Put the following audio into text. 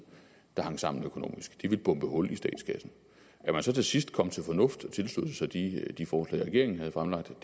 der hang sammen økonomisk det ville bombe hul i statskassen at man så til sidst kom til fornuft og tilsluttede sig de de forslag regeringen havde fremlagt